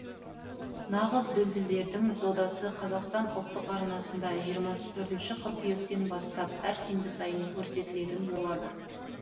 нағыз дүлдүлдердің додасы қазақстан ұлттық арнасында жиырма төртінші қыркүйектен бастап әр сенбі сайын көрсетілетін болады